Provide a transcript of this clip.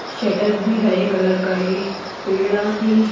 shutter भी हरे colour का है पेड़ा भी --